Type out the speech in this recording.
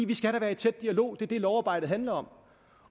vi skal da være i tæt dialog det er det lovarbejde handler om